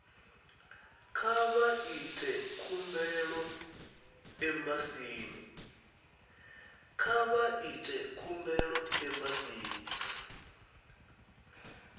kha vha ite khumbelo embasini